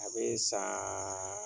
A bɛ san